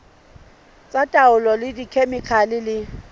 tsa taolo ka dikhemikhale le